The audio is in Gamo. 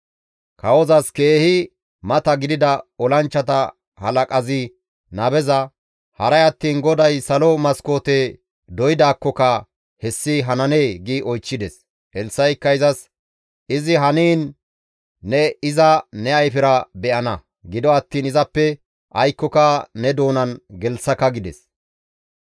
Kawozas keehi mata gidida olanchchata halaqazi nabeza, «Haray attiin GODAY salo maskoote doydaakkoka hessi hananee?» gi oychchides. Elssa7ikka izas, «Izi haniin ne iza ne ayfera be7ana; gido attiin izappe aykkoka ne doonan gelththaka» gides.